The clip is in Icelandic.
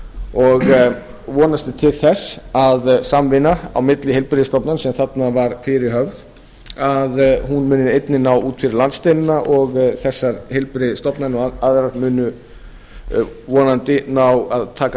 og vonast er til þess að samvinna á milli heilbrigðisstofnana sem þarna var fyrirhöfð að hún muni einnig ná út fyrir landsteinana og þessar heilbrigðisstofnanir og aðrar sem unnu vonandi ná að taka